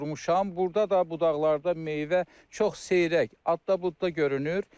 Burda da budaqlarda meyvə çox seyrək, adda-budda görünür.